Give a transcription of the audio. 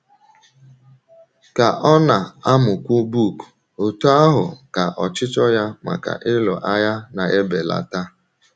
Ka ọ na - amụkwu book, otú ahụ ka ọchịchọ ya maka ịlụ agha na - ebelata.